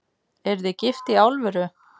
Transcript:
Eruð þið gift í alvöru?